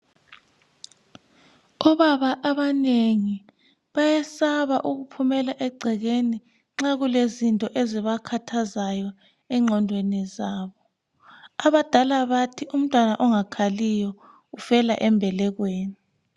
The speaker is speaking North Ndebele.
Obaba abanengi bayesaba ukuphumela egcekeni nxa kulezinto ezibakhathazayo enqodweni zabo abadala bathi umntwana ongakhaliyo ufela embelekweni.